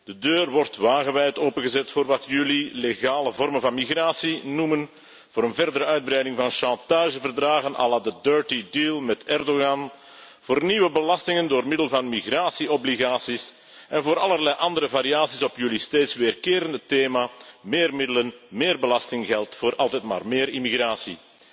De deur wordt wagenwijd opengezet voor wat jullie legale vormen van migratie noemen, voor een verdere uitbreiding van chantageverdragen à la de 'dirty deal' met Erdogan, voor nieuwe belastingen door middel van migratieverplichtingen en voor allerlei andere variaties op jullie steeds terugkerende thema meer middelen, meer belastinggeld voor altijd maar meer immigratie.